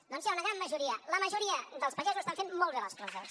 doncs hi ha una gran majoria la majoria dels pagesos estan fent molt bé les coses